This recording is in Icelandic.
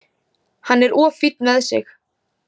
Hann er of fínn með sig.